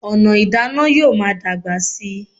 Ọ̀nà ìdáná yóò máa dàgbà síi